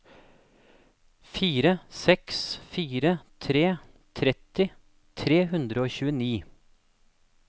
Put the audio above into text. fire seks fire tre tretti tre hundre og tjueni